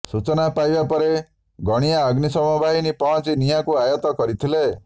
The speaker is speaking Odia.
ସୂଚନା ପାଇବା ପରେ ଗଣିଆ ଅଗ୍ନିଶମ ବାହିନୀ ପହଞ୍ଚି ନିଆଁକୁ ଆୟତ୍ତ କରିଥିଲେ